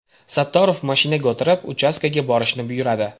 Sattorov mashinaga o‘tirib, uchastkaga borishni buyuradi.